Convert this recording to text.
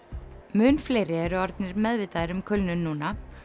mun fleiri eru orðnir meðvitaðir um kulnun núna